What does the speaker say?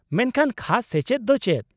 -ᱢᱮᱱᱠᱷᱟᱱ, ᱠᱷᱟᱥ ᱥᱮᱪᱮᱫ ᱫᱚ ᱪᱮᱫ ?